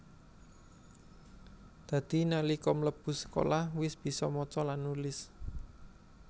Dadi nalika mlebu sekolah wis bisa maca lan nulis